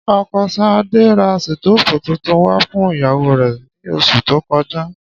Ọkọ Ṣadé ra sítóòfù tuntun wá fún ìyàwó rẹ̀ ní oṣù tó kọjá